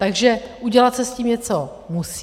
Takže udělat se s tím něco musí.